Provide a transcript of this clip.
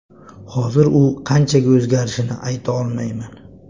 Hozir u qanchaga o‘zgarishini ayta olmayman.